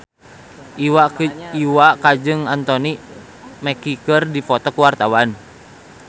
Iwa K jeung Anthony Mackie keur dipoto ku wartawan